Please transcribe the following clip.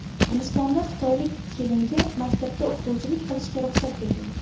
Gulistonda xitoylik kelinga maktabda o‘qituvchilik qilishga ruxsat berildi.